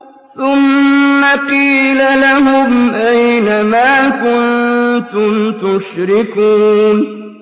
ثُمَّ قِيلَ لَهُمْ أَيْنَ مَا كُنتُمْ تُشْرِكُونَ